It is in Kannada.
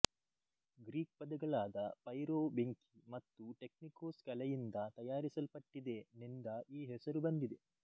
ಗ್ರೀಕ್ ಪದಗಳಾದ ಪೈರೋ ಬೆಂಕಿ ಮತ್ತು ಟೆಕ್ನಿಕೋಸ್ ಕಲೆಯಿಂದ ತಯಾರಿಸಲ್ಪಟ್ಟಿದೆ ನಿಂದ ಈ ಹೆಸರು ಬಂದಿದೆ